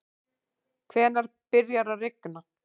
hvenær byrjar að rigna